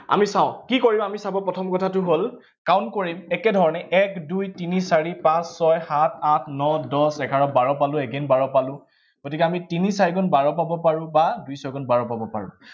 আমি চাঁও, কি কৰিম আমি চাব, প্ৰথম কথাটো হল, count কৰিম একেধৰণে, এক দুই তিনি চাৰি পাঁচ ছয় সাত আঠ ন দহ এঘাৰ বাৰ পালো, again বাৰ পালো, গতিকে আমি তিনি চাৰি গুণ বাৰ পাব পাৰো বা দুই ছয় গুণ বাৰ পাব পাৰো